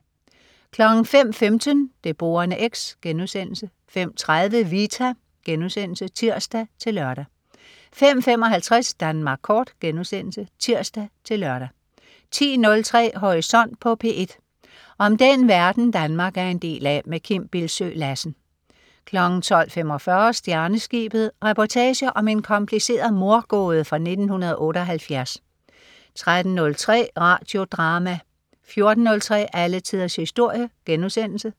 05.15 Det Borende X* 05.30 Vita* (tirs-lør) 05.55 Danmark Kort* (tirs-lør) 10.03 Horisont på P1. Om den verden, Danmark er en del af. Kim Bildsøe Lassen 12.45 Stjerneskibet. Reportage om en kompliceret mordgåde fra 1978 13.03 Radio Drama 14.03 Alle tiders historie*